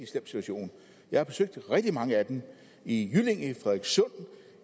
slem situation jeg har besøgt rigtig mange af dem i jyllinge